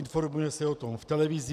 Informuje se o tom v televizi.